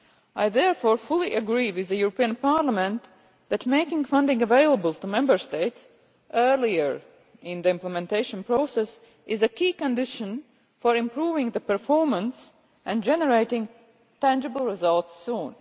I therefore fully agree with the European Parliament that making funding available to Member States earlier in the implementation process is a key condition for improving the performance and generating tangible results soon.